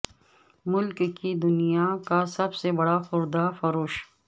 ملک کی دنیا کا سب سے بڑا خوردہ فروش